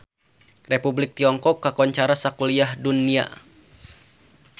Republik Tiongkok kakoncara sakuliah dunya